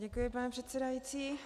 Děkuji, pane předsedající.